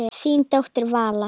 Þín dóttir, Vala.